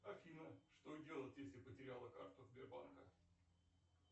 афина что делать если потеряла карту сбербанка